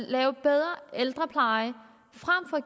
at lave bedre ældrepleje frem for